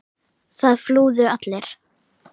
Það flúðu allir.